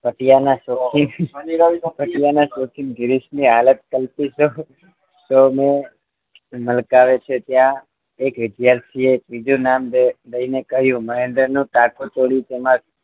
પટિયાના શોખીન પટિયાના શોખીન ગિરીશ ની હાલત કલટી તો મોં મલકાવે છે ત્યાં એક વિદ્યાર્થીએ ત્રીજું નામ દઈને કહ્યુ મહેન્દ્રનો ટાકો ચોરી તેમાં